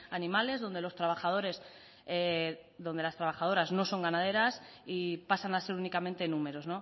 animales donde los trabajadores donde las trabajadoras no son ganaderas y pasan a ser únicamente números